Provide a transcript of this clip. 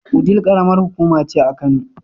Wudil ƙaramar hukuma ce a Kano.